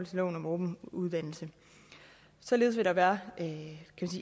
til lov om åben uddannelse således vil der være